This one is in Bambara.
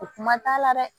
O kuma t'a la dɛ